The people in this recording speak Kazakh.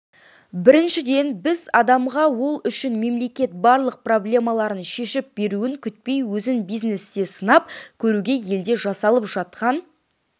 біріншіден біз адамға ол үшін мемлекет барлық проблемаларын шешіп беруін күтпей өзін бизнесте сынап көруге елде жасалып жатқан